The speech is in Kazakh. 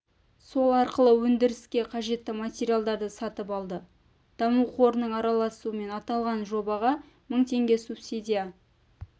сол арқылы өндіріске қажетті материалдарды сатып алды даму қорының араласуымен аталған жобаға мың теңге субсидия